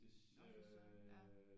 Nå for søren ja